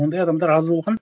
ондай адамдар аз болған